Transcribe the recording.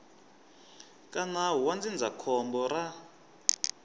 ka nawu wa ndzindzakhombo ra